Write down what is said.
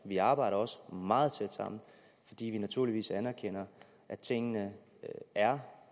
vi arbejder også meget tæt sammen fordi vi naturligvis anerkender at tingene er